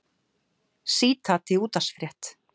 Sítat í útvarpsfrétt